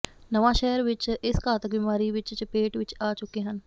ਨਵਾਂ ਸ਼ਹਿਰ ਵਿੱਚ ਇਸ ਘਾਤਕ ਬਿਮਾਰੀ ਵਿੱਚ ਚਪੇਟ ਵਿੱਚ ਆ ਚੁੱਕੇ ਹਨ